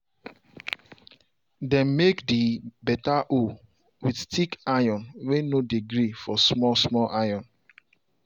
dem make the beta hoe with thick iron way no dey gree for small small iron.